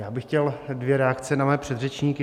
Já bych chtěl dvě reakce na mé předřečníky.